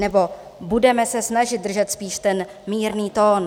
Nebo: "Budeme se snažit držet spíš ten mírný tón."